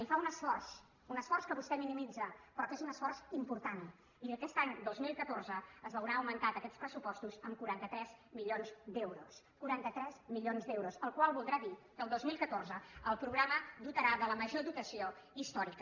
i fa un esforç un esforç que vostè minimitza però que és un esforç important i aquest any dos mil catorze es veurà augmentat en aquests pressupostos amb quaranta tres milions d’euros quaranta tres milions d’euros la qual cosa voldrà dir que el dos mil catorze el programa es dotarà de la major dotació històrica